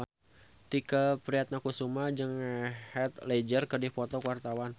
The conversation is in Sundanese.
Tike Priatnakusuma jeung Heath Ledger keur dipoto ku wartawan